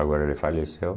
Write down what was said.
Agora ele faleceu.